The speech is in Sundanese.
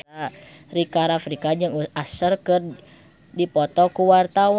Rika Rafika jeung Usher keur dipoto ku wartawan